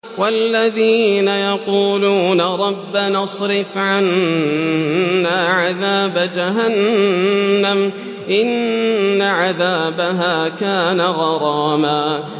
وَالَّذِينَ يَقُولُونَ رَبَّنَا اصْرِفْ عَنَّا عَذَابَ جَهَنَّمَ ۖ إِنَّ عَذَابَهَا كَانَ غَرَامًا